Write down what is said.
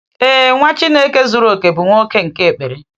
Ee, Nwa Chineke zuru oke bụ nwoke nke ekpere.